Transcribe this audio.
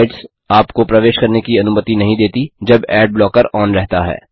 कुछ साइट्स आपको प्रवेश करने की अनुमति नहीं देती जब एड ब्लॉकर ऑन रहता है